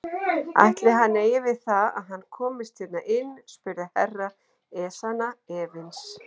Ætli hann eigi við það að hann komist hérna inn spurði Herra Ezana efins.